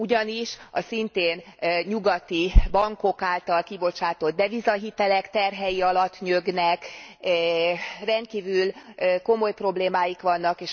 Ugyanis a szintén nyugati bankok által kibocsátott devizahitelek terhei alatt nyögnek, rendkívül komoly problémáik vannak.